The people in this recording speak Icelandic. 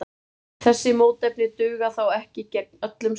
Þessi mótefni duga þó ekki gegn öllum sýkingum.